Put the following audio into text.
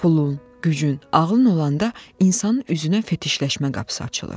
Pulun, gücün, ağılın olanda insanın üzünə fetişləşmə qapısı açılır.